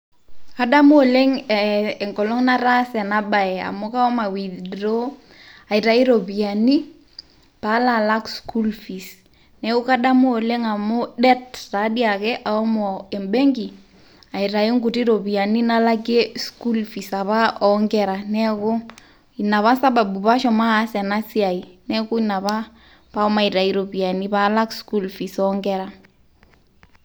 Adamu oleng enkolong nataasa ena bae, amu kashomo aiwithdraw aitayu iropiyiani peaalo alak school fees. Neaku kadamu oleng amu det ataa dii ake ashomo embenki, aitayu inkuti ropiyiani nalakie school fees apa oo inkera,. Neaku ina apa sababu apa pee ashomo aas ena siai neaku ina apa paashomo alak iropiyiani paalak school fees oonkera.